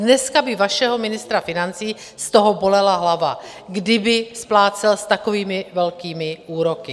Dneska by vašeho ministra financí z toho bolela hlava, kdyby splácel s takovými velkými úroky.